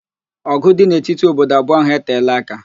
Ọ̀gụ̀ dị n'etiti obodo abụọ ahụ eteela aka.